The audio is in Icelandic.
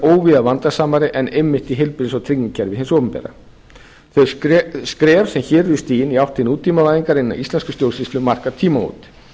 óvíða vandasamari en einmitt í heilbrigðis og tryggingakerfi hins opinbera þau skref sem hér eru stigin í átt til nútímavæðingar hinnar íslensku stjórnsýslu marka tímamót